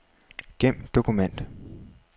Gem dokument.